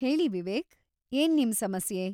ಹೇಳಿ ವಿವೇಕ್‌, ಏನ್‌ ನಿಮ್ ಸಮಸ್ಯೆ?